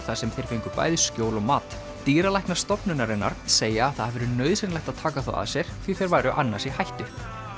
þar sem þeir fengu bæði skjól og mat dýralæknar stofnunarinnar segja að það hafi verið nauðsynlegt að taka þá að sér því þeir væru annars í hættu